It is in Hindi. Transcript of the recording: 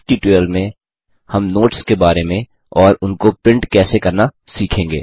इस ट्यूटोरियल में हम नोट्स के बारे में और उनको प्रिंट कैसे करना सीखेंगे